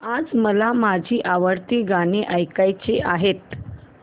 आज मला माझी आवडती गाणी ऐकायची आहेत